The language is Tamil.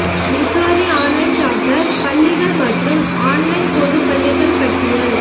மிசோரி ஆன்லைன் சார்ட்டர் பள்ளிகள் மற்றும் ஆன்லைன் பொது பள்ளிகள் பட்டியல்